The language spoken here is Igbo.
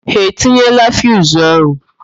Ha etinyeela fiuzu ahụ?